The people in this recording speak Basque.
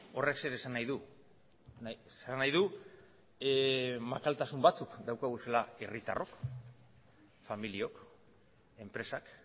horrek zer esan nahi du esan nahi du makaltasun batzuk ditugula herritarrok familiok enpresak